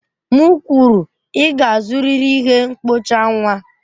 M kwuru, ị ga-azụrịrị ihe mkpocha nwa!